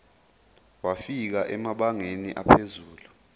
wafika emabangeni aphezulu